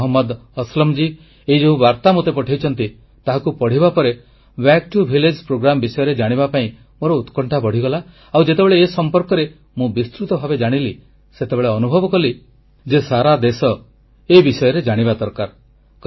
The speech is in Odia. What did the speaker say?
ଭାଇ ମହମ୍ମଦ ଅସଲମଜୀ ଏହି ଯେଉଁ ବାର୍ତା ମୋତେ ପଠାଇଛନ୍ତି ତାହାକୁ ପଢ଼ିବା ପରେ ଏହି କାର୍ଯ୍ୟକ୍ରମ ବିଷୟରେ ଜାଣିବା ପାଇଁ ମୋର ଉତ୍କଣ୍ଠା ବଢ଼ିଗଲା ଆଉ ଯେତେବେଳେ ଏ ସମ୍ପର୍କରେ ମୁଁ ବିସ୍ତୃତ ଭାବେ ଜାଣିଲି ସେତେବେଳେ ଅନୁଭବ କଲି ଯେ ସାରା ଦେଶ ଏ ବିଷୟରେ ଜାଣିବା ଦରକାର